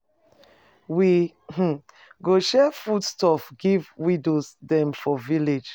We um go share food stuff give widows dem for village.